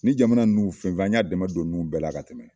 Ni jamana nunnu fɛn fɛn an ɲa dɛmɛ don ninnu bɛɛ la ka tɛmɛ